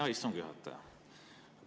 Hea istungi juhataja!